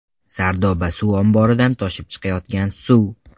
Sardoba suv omboridan toshib chiqayotgan suv.